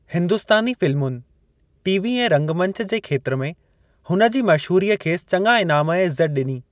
हिंदुस्तानी फ़िल्मुनि, टीवी ऐं रंगमंच जे खेत्र में हुन जी मशहूरीअ खेसि चङा इनाम ऐं इज़त ॾिनी।